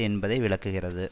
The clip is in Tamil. என்பதை விளக்குகிறது